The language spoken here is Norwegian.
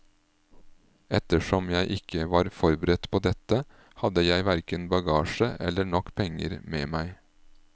Ettersom jeg ikke var forberedt på dette, hadde jeg hverken bagasje eller nok penger med meg.